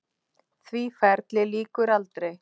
Því ferli lýkur aldrei.